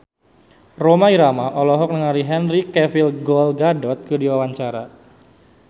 Rhoma Irama olohok ningali Henry Cavill Gal Gadot keur diwawancara